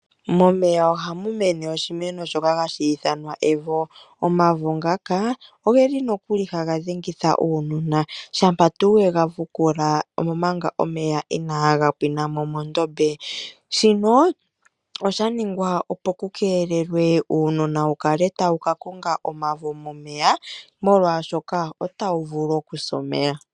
Momeya ohamu mene oshimeno shoka hashi ithanwa evo, omavo ngaka ogeli nokuli haga dhengitha uunona shampa tuu wega vukula omanga omeya inaga pwinamo mondobe. shino osha ningwa opo kukelelwe uunona wukale tawu kakonga omavo momeya molwashoka otawu vulu okusa omeya.